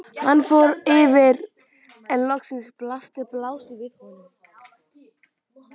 Hann fór hægt yfir en loks blasti plássið við honum.